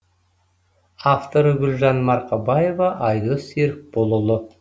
авторы гүлжан марқабаева айдос серікболұлы